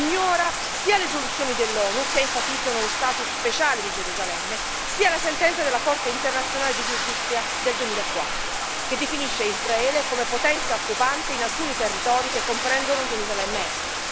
Ignora sia le risoluzioni dell'ONU, che enfatizzano lo status speciale di Gerusalemme, sia la sentenza della Corte internazionale di giustizia del 2004, che definisce Israele come potenza occupante in alcuni territori che comprendono Gerusalemme Est.